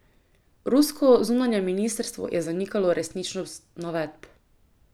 Rusko zunanje ministrstvo je zanikalo resničnost navedb.